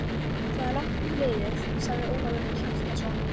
Það er langt um liðið, sagði Ólafur Hjaltason.